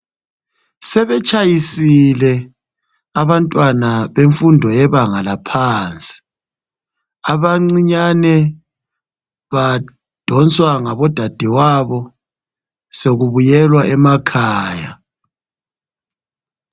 Sebetshayisile abantwana bemfundo yebanga laphansi. Abancinyane badonswa ngabodadewabo sokubuyelwa emakhaya.